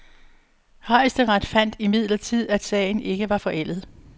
Højesteret fandt imidlertid, at sagen ikke var forældet.